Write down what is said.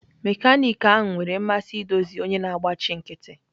Mekaniki ahụ nwere mmasị idozi onye na-agbachi nkịtị.